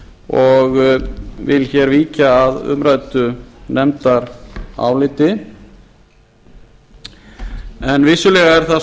og vil hér víkja að umræddu nefndaráliti en vissulega er það